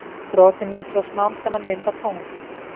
Brotin myndu svo smám saman mynda tungl.